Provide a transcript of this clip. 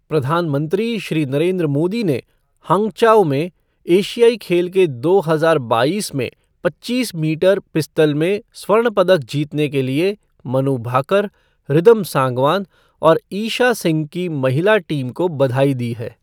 प्रधानमंत्री श्री नरेन्द्र मोदी ने हंग्चाओ में एशियाई खेल दो हजार बाईस में पच्चीस मीटर पिस्टल में स्वर्ण पदक जीतने के लिए मनु भाकर, रिदम सांगवान और ईशा सिंह की महिला टीम को बधाई दी है।